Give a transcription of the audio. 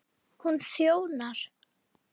Hún þjónar